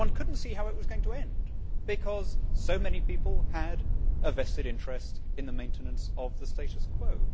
Yet one could not see how it was going to end because so many people had a vested interest in the maintenance of the status quo.